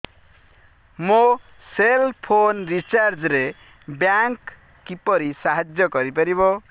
ମୋ cell phone recharge ରେ bank କିପରି ସାହାଯ୍ୟ କରିପାରିବ